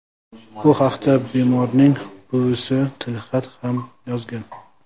Bu haqda bemorning buvisi tilxat ham yozgan.